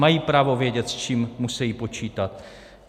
Mají právo vědět, s čím musejí počítat.